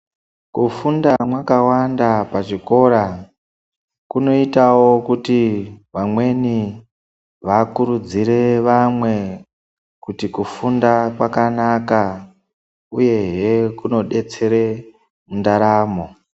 Kufunda mwakawanda pachikora kunoitawo kuti vamweni vakurudzire vamwe kuti kufunda kwakanaka uyehe kunodetsere ndaramo.